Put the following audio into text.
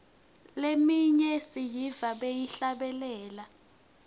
leminye siyiva bayihlabelela